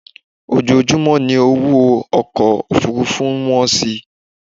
Ojoojúmọ́ ni owó ọkọ Òfurufú ń wọ́n si